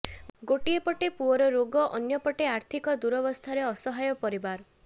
ଗୋଟିଏ ପଟେ ପୁଅର ରୋଗ ଅନ୍ୟ ପଟେ ଆର୍ଥିକ ଦୁରାବସ୍ଥାରେ ଅସହାୟ ପରିବାର